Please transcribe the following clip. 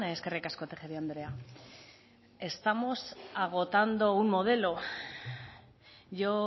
eskerrik asko tejeria andrea estamos agotando un modelo yo